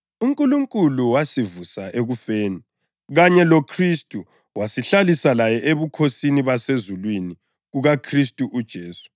UNkulunkulu wasivusa ekufeni kanye loKhristu wasihlalisa laye ebukhosini basezulwini kuKhristu uJesu